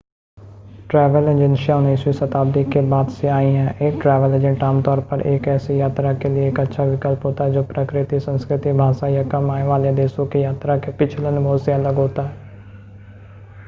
travel एजेंसियां 19 वीं शताब्दी के बाद से आई हैं एक ट्रैवल एजेंट आमतौर पर एक ऐसी यात्रा के लिए एक अच्छा विकल्प होता है जो प्रकृति संस्कृति भाषा या कम आय वाले देशों के यात्रा के पिछले अनुभव से अलग होता है